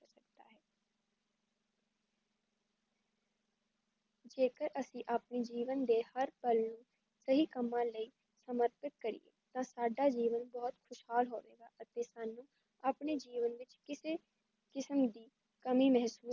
ਜੇਕਰ ਅਸੀ ਆਪਣੇ ਜੀਵਨ ਦੇ ਹਰ ਪਲ ਨੂੰ ਸਹੀ ਕੱਮਾ ਲਈ ਸਮਰਪਿਤ ਕਰੀਏ ਤਾਂ ਸਾਡਾ ਜੀਵਨ ਬਹੁਤ ਖੁਸ਼ਹਾਲ ਹੋਓ ਅਤੇ ਸਾਨੂੰ ਆਪਣੇ ਜੀਵਨ ਵਿੱਚ ਕਿਸੇ ਕਿਸਮ ਦੀ ਕਮੀ ਮਹੱਸੂਸ